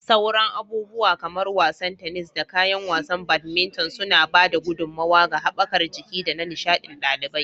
Sauran abubuwa kamar wasan tennis, da kayan wasan badminton suna ba da gudummawa ga haɓakar jiki da na nishaɗin ɗalibai.